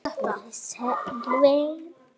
spurði Sölvi.